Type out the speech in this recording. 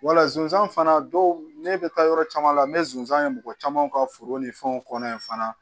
Wala sonsan fana dɔw ne bɛ taa yɔrɔ caman n bɛ sonsan ye mɔgɔ caman ka foro ni fɛnw kɔnɔ yen fana